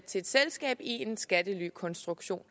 til et selskab i en skattelykonstruktion